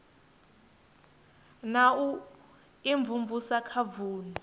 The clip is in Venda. na u imvumvusa kha vunu